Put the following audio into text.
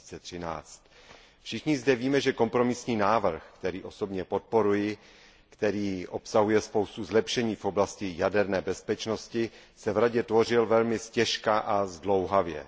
2013. Všichni zde víme, že kompromisní návrh, který osobně podporuji a který obsahuje spoustu zlepšení v oblasti jaderné bezpečnosti, se v Radě tvořil velmi ztěžka a zdlouhavě.